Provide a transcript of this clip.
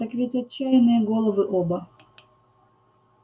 так ведь отчаянные головы оба